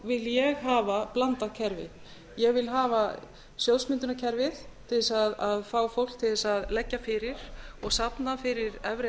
vil ég hafa blandað kerfi ég vil hafa sjóðsmyndunarkerfi til þess að fá fólk til þess að leggja fyrir og safna fyrir efri